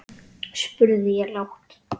spurði ég lágt.